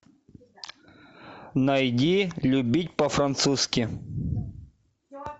найди любить по французски